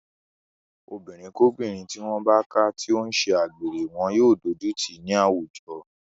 Obìnrinkóbìnrin tí wọ́n bá ká tó ń ṣe agbèrè wọn yóò dójú tì í nínú àwùjọ.